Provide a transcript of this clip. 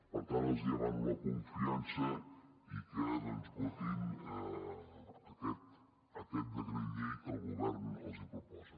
per tant els demano la confiança i que doncs votin aquest decret llei que el govern els proposa